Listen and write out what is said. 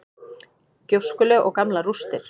Gjóskulög og gamlar rústir.